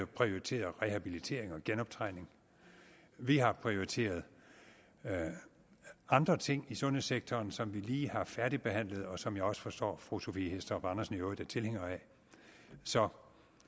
prioriteret rehabilitering og genoptræning vi har prioriteret andre ting i sundhedssektoren som vi lige har færdigbehandlet og som jeg også forstår fru sophie hæstorp andersen i øvrigt er tilhænger af så